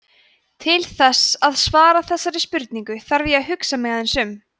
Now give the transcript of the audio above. til þess að svara þessari spurningu þarf ég að hugsa mig aðeins um